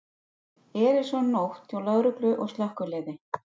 Erilsöm nótt hjá lögreglu og slökkviliði